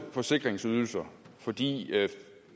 forsikringsydelser fordi